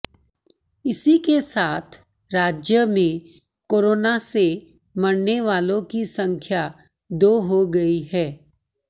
इसी के साथ राज्य में कोरोना से मरने वालों की संख्या दो हो गई है